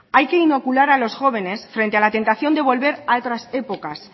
hay que inocular a los jóvenes frente a la tentación de volver a otras épocas